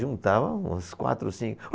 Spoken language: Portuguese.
Juntava uns quatro ou cinco.